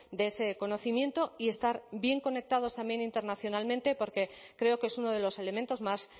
de ese conocimiento y estar bien conectados también internacionalmente porque creo que es uno de los elementos más